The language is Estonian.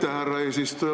Aitäh, härra eesistuja!